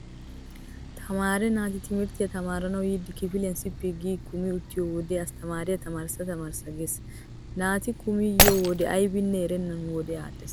Tamaare naati timirttiya tamaaranawu yiidi kifiliuan sippi gi kumi uttiyo wode asttamaariya tamaarissa tamaarissa gees. Naati kumi yiyo wode aybanne erennan wodee aadhdhees.